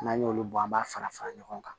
N'an y'olu bɔ an b'a fara fara ɲɔgɔn kan